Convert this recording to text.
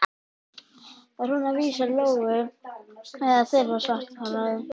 Var hún að vísa til Lóu eða þeirrar svarthærðu?